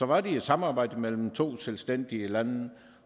var det et samarbejde mellem to selvstændige lande